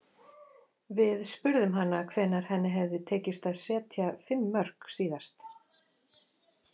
Við spurðum hana hvenær henni hefði tekist að setja fimm mörk síðast.